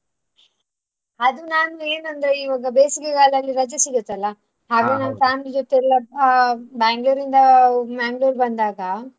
ಅದು ನಾನ್ ಏನಂದ್ರೆ ಈವಾಗ ಬೇಸಿಗೆಗಾಲದಲ್ಲಿ ರಜೆ ಸಿಗುತ್ತಲ್ಲ. family ಜೊತೆಗೆ ಆ Bangalore ಇಂದ Mangalore ಬಂದಾಗ.